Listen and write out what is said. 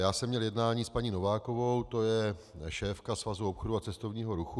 Já jsem měl jednání s paní Novákovou, to je šéfka Svazu obchodu a cestovního ruchu.